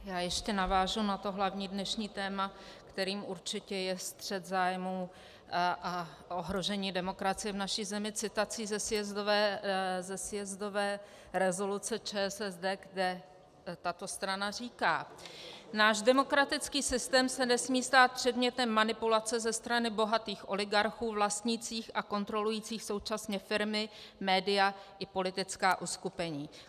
Já ještě navážu na to hlavní dnešní téma, kterým určitě je střet zájmů a ohrožení demokracie v naší zemi, citací ze sjezdové rezoluce ČSSD, kde tato strana říká: "Náš demokratický systém se nesmí stát předmětem manipulace ze strany bohatých oligarchů vlastnících a kontrolujících současně firmy, média i politická uskupení."